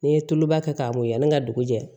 N'i ye tuluba kɛ k'a mɔyan ni ka dugu jɛ